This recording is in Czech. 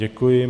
Děkuji.